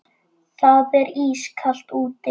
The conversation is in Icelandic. Það er ískalt úti.